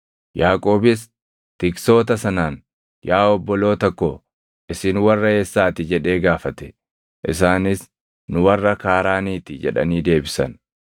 Yaaqoobis tiksoota sanaan, “Yaa obboloota ko, isin warra eessaati?” jedhee gaafate. Isaanis, “Nu warra Kaaraaniiti” jedhanii deebisan.